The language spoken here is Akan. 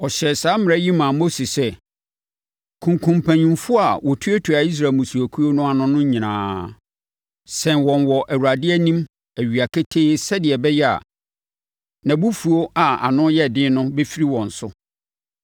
Ɔhyɛɛ saa mmara yi maa Mose sɛ, “Kunkum mpanimfoɔ a wɔtuatua Israel mmusuakuo no ano no nyinaa. Sɛn wɔn wɔ Awurade anim awia ketee sɛdeɛ ɛbɛyɛ a, nʼabufuo a ano yɛ den no bɛfiri wɔn so.”